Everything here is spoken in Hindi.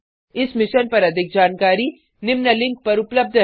इस मिशन पर अधिक जानकारी निम्न लिंक पर उपलब्ध है